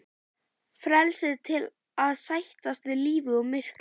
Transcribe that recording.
Frelsið til að sættast við lífið og myrkrið.